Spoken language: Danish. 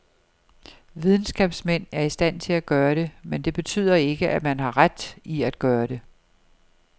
Videnskabsmænd er i stand til at gøre det, men det betyder ikke, at man har ret i at gøre det.